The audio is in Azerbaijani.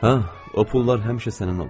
"Hə, o pullar həmişə sənin olub."